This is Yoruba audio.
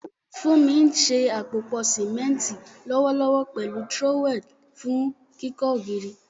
Funmi ń ṣe àpòpọ̀ símẹ́ńtì lọ́wọ́lọ́wọ́ pẹ̀lú trowel fún kíkọ́ ògiri.